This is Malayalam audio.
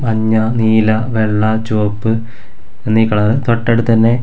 മഞ്ഞ നീല വെള്ള ചുവപ്പ് എന്നീ കളർ തൊട്ടടുത്തുതന്നെ--